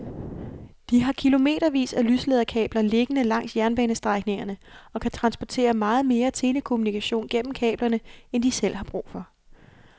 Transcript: De har kilometervis af lyslederkabler liggende langs jernbanestrækningerne og kan transportere meget mere telekommunikation gennem kablerne end de selv har brug for.